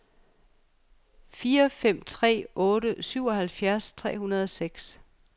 fire fem tre otte syvoghalvfjerds tre hundrede og seks